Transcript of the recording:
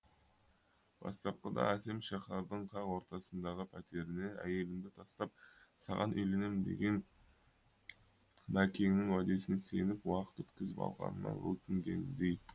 бастапқыда әсем шаһардың қақ ортасындағы пәтеріне әйелімді тастап саған үйленем деген мәкеңнің уәдесіне сеніп уақыт өткізіп алғанына өкінгендей